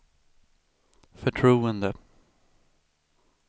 förtroende